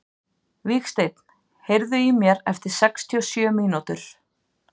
Vígsteinn, heyrðu í mér eftir sextíu og sjö mínútur.